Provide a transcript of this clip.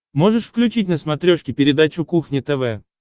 можешь включить на смотрешке передачу кухня тв